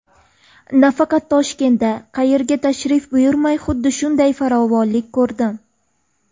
Nafaqat Toshkentda, qayerga tashrif buyurmay xuddi shunday farovonlikni ko‘rdim.